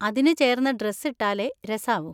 അതിനുചേർന്ന dress ഇട്ടാലേ രസാവൂ.